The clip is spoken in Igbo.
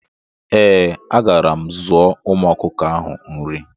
Eeh, agara m zụọ ụmu ọkụkọ ahụ nri